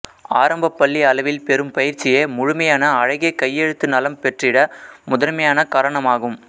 ஆரம்பப்பள்ளி அளவில் பெறும் பயிற்சியே முழுமையான அழகிய கையெழுத்து நலம் பெற்றிட முதன்மையான காரணமாகும்